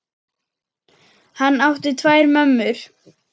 Hann átti tvær mömmur.